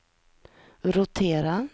rotera